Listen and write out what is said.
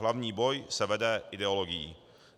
Hlavní boj se vede ideologií.